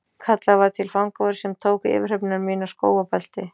Kallaður var til fangavörður sem tók yfirhöfn mína, skó og belti.